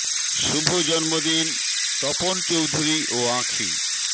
শু ভ জ ন্ম দি ন তপন চৌধুরী ও আঁখি